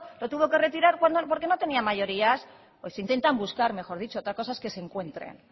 lo tuvo que retirar porque no tenían mayorías pues se intentan buscar mejor dicho otra cosa es que se encuentren